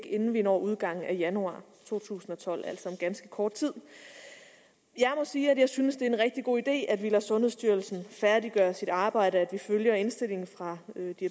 inden vi når udgangen af januar to tusind og tolv altså om ganske kort tid jeg må sige at jeg synes det er en rigtig god idé at vi lader sundhedsstyrelsen færdiggøre sit arbejde og at vi følger indstillingen fra